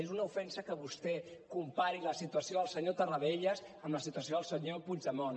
és una ofensa que vostè compari la situació del senyor tarradellas amb la situació del senyor puigdemont